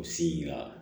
U sina